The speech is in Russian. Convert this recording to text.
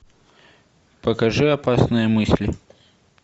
покажи опасные мысли